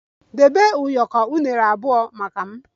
Debe ụyọkọ unere abụọ maka m!